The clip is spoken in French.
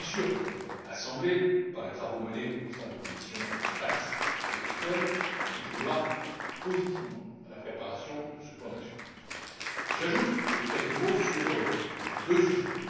Je suis sûr que votre Assemblée, par les travaux menés au sein des commissions TAXE et ECON, contribuera positivement à la préparation de ce plan d'action. Je souhaiterais encore dire quelques mots sur deux sujets.